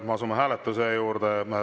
Me asume hääletuse juurde.